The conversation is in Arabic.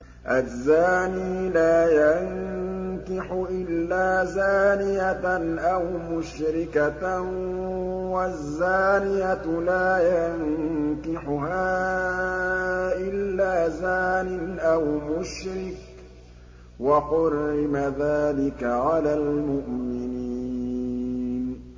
الزَّانِي لَا يَنكِحُ إِلَّا زَانِيَةً أَوْ مُشْرِكَةً وَالزَّانِيَةُ لَا يَنكِحُهَا إِلَّا زَانٍ أَوْ مُشْرِكٌ ۚ وَحُرِّمَ ذَٰلِكَ عَلَى الْمُؤْمِنِينَ